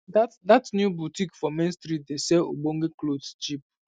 dat dat new botik for main street dey sell ogbonge clothes cheap